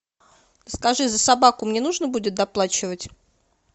скажи за собаку мне нужно будет доплачивать